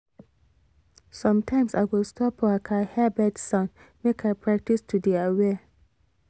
sometimes i go stop waka hear bird sound make i practice to dey aware